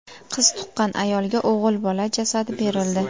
Qiz tuqqan ayolga o‘g‘il bola jasadi berildi.